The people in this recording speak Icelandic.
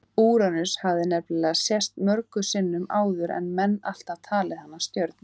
Úranus hafði nefnilega sést mörgum sinnum áður en menn alltaf talið hana stjörnu.